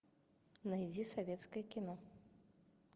найди советское кино